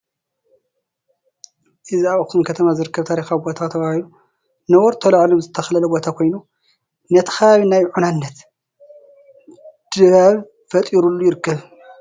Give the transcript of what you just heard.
እዚ ኣብ ኣኽሱም ከተማ ዝርከብ ታሪካዊ ቦታ ተባሂሉ ነበርቱ ተላዒሎም ዝተኸለለ ቦታ ኮይኑ ነቲ ከባቢ ናይ ዑናነት ድባብ ፈጢሩሉ ይርከብ፡፡